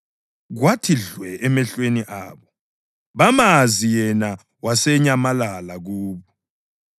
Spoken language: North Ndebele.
Kwathi dlwe emehlweni abo, bamazi, yena wasenyamalala kubo.